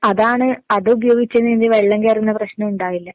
അതാണ് അതുപയോഗിച്ച് വെള്ളം കേറുന്ന പ്രശ്നം ഉണ്ടാവില്ല.